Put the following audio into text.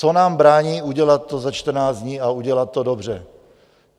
Co nám brání udělat to za 14 dní a udělat to dobře?